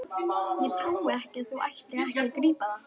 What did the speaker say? Ég trúi ekki að þú ætlir ekki að grípa það!